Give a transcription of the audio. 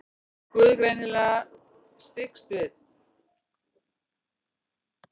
Guð greinilega styggst við.